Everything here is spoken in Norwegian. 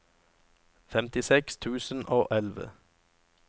femtiseks tusen og elleve